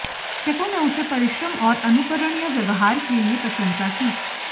शिक्षकों ने उसे परिश्रम और अनुकरणीय व्यवहार के लिए प्रशंसा की